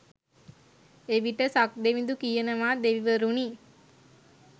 එවිට සක්දෙවිඳු කියනවා දෙවිවරුනි